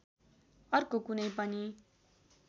अर्को कुनै पनि